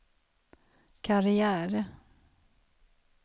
karriär